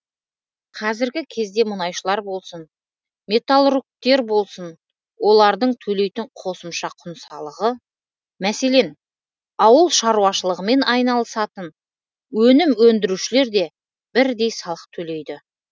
қазіргі кезде мұнайшылар болсын металлургтер болсын олардың төлейтін қосымша құн салығы мәселен ауыл шаруашылығымен айналысатын өнім өндірушілер де бірдей салық төлейді